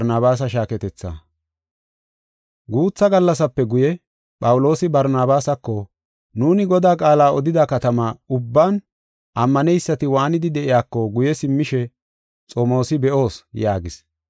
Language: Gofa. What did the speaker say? Guutha gallasape guye Phawuloosi Barnabaasako, “Nuuni Godaa qaala odida katama ubban ammaneysati waanidi de7iyako guye simmishe xomoosi be7oos” yaagis.